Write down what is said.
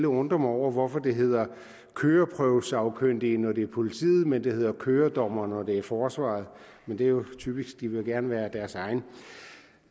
undre mig over hvorfor det hedder køreprøvesagkyndige når det er politiet men det hedder køredommere når det er forsvaret men det er jo typisk de vil gerne være deres egen